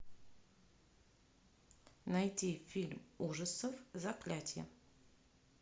найти фильм ужасов заклятие